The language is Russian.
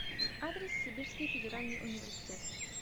адрес сибирский федеральный университет